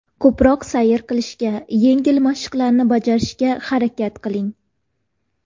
Ko‘proq sayr qilishga, yengil mashqlarni bajarishga harakat qiling.